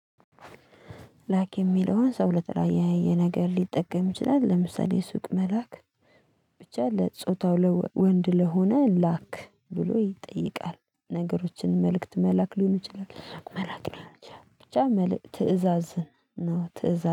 ላክ የሚለውን ሰው ለተለያየ ነገር ሊጠቀም ይችላል። ለምሳሌ ሱቅ መላክ ብቻ ለጾታው ወንድ ለሆነ ላክ ብሎ ይጠይቃል። ነገሮችን መልእክት መላክ ሊሆን ይችላል መላክ ሊሆን ይችላል። ብቻ መልእክት ትእዛዝን ነው ትእዛዝ